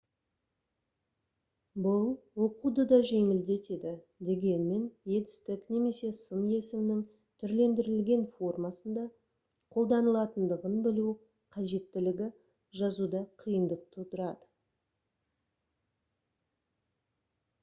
бұл оқуды да жеңілдетеді дегенмен етістік немесе сын есімнің түрлендірілген формасында қолданылатындығын білу қажеттілігі жазуда қиындық тудырады